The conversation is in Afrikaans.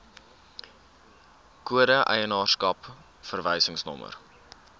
kode eienaarskap verwysingsnommer